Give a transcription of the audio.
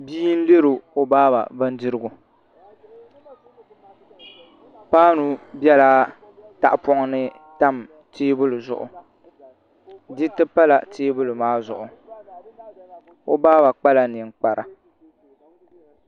Bia n lɛri o baaba bindirigu paanu biɛla tahapoŋ ni tam teebuli zuɣu diriti pala teebuli maa zuɣu o baaba kpala ninkpara